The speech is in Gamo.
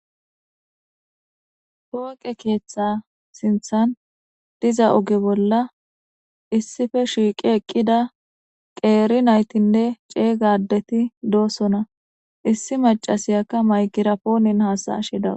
Pooqe keeththa sinthan diza uge bolla issife shiiqi eqqida qeeri naytinne ceeygadeti doossona issi macasiyakka maygira poonin haasashida